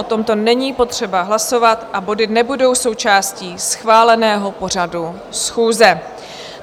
O tomto není potřeba hlasovat a body nebudou součástí schváleného pořadu schůze.